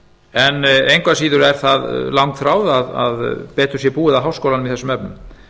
en engu að síður er það langþráð að betur sé búið að háskólanum í þessum efnum